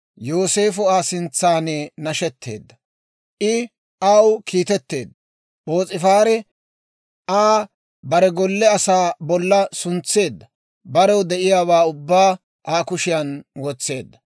Yooseefo Aa sintsaan nashetteedda; I aw kiitetteedda. P'oos'ifaari Aa bare golle asaa bolla suntseedda; barew de'iyaawaa ubbaa Aa kushiyaan wotseedda.